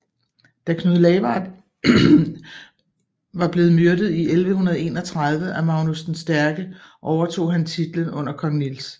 Da Knud Lavard i var blevet myrdet i 1131 af Magnus den Stærke overtog han titlen under kong Niels